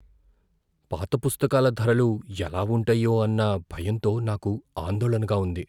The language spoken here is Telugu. పాత పుస్తకాల ధరలు ఎలా ఉంటాయో అన్న భయంతో నాకు ఆందోళనగా ఉంది.